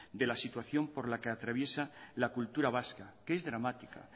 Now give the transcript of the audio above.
de la situación por la que atraviesa la cultura vasca es dramática